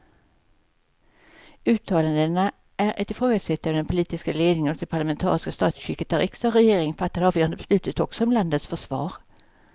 Uttalandena är ett ifrågasättande av den politiska ledningen och det parlamentariska statsskick där riksdag och regering fattar de avgörande besluten också om landets försvar.